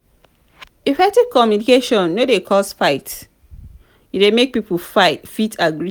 effective communication no dey cause fight e de make pipo fit agree together